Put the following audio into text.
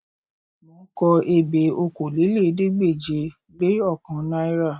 Mò ń kọ ebè okòólélẹ́ẹ̀ẹ́dégbèje-le-ọ̀kan náírà